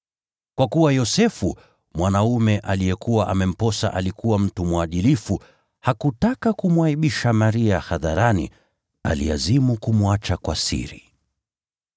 Kwa kuwa Yosefu, mwanaume aliyekuwa amemposa alikuwa mtu mwadilifu, hakutaka kumwaibisha Maria hadharani, aliazimu kumwacha kwa siri.